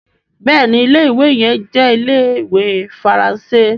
béèni Ilé-ìwé yẹn jẹ Ile-iwe Faranse.